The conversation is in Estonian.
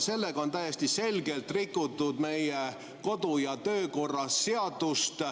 Sellega on täiesti selgelt rikutud meie kodu- ja töökorra seadust.